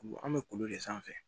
Ku an bɛ kolo de sanfɛ